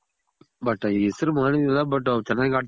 but ಹೆಸ್ರು ಮಾಡಿರ್ಲಿಲ್ಲ but ಅವ್ರ್ ಚೆನಾಗ್ ಆಡ್ತಿದ್ರು.